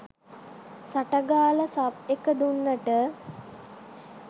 සට ගාලා සබ් එක දුන්නට